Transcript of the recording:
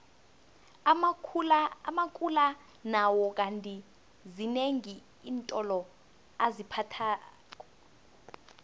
amakula nawo kandi zinengi iintolo aziphathako